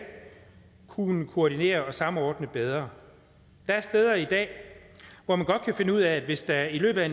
kunne koordinere og samordne bedre der er steder i dag hvor man godt kan finde ud af at hvis der i løbet af